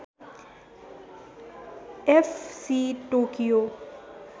F C Tokyo